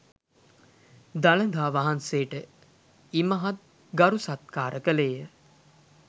දළදා වහන්සේට ඉමහත් ගරු සත්කාර කළේ ය.